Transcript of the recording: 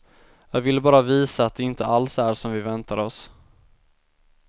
Jag ville bara visa att det inte alls är som vi väntade oss.